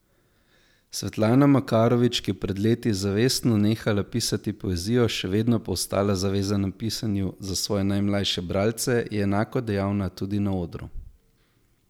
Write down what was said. Svetlana Makarovič, ki je pred leti zavestno nehala pisati poezijo, še vedno pa ostala zavezana pisanju za svoje najmlajše bralce, je enako dejavna tudi na odru.